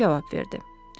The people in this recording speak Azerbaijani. Makmerdo cavab verdi.